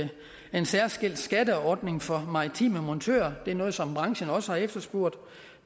en særskilt skatteordning for maritime montører det er noget som branchen også har efterspurgt